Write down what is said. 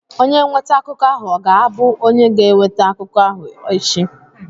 Onye nweta akụkọ ahụ ọ ga-abụ onye ga-eweta akụkọ ahụ echi?